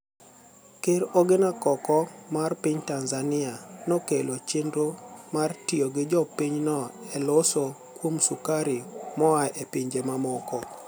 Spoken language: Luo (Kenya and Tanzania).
Ker Oginia koko mar piniy Tanizaniia nokelo cheniro mar tiyo gi jopiny no eloso kuom sukari moa e pinije mamoko.